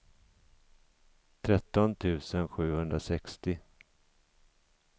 tretton tusen sjuhundrasextio